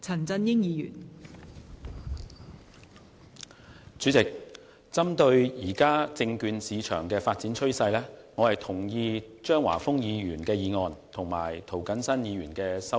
代理主席，針對現時證券市場的發展趨勢，我同意張華峰議員的議案和涂謹申議員的修正案。